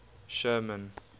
sherman